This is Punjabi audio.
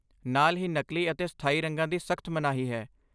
ਨਾਲ ਹੀ, ਨਕਲੀ ਅਤੇ ਸਥਾਈ ਰੰਗਾਂ ਦੀ ਸਖਤ ਮਨਾਹੀ ਹੈ!